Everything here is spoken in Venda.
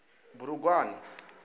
bulugwane